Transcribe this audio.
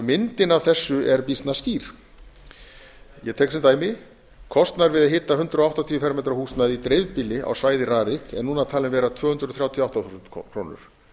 myndin af þessu er býsna skýr ég tek sem dæmi kostnaður við að hita hundrað áttatíu fermetra húsnæði í dreifbýli á dæmi rarik er núna talið vera tvö hundruð þrjátíu og átta þúsund krónur